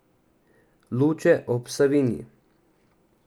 Luče ob Savinji.